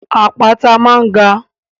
Àpáta máa ń ga.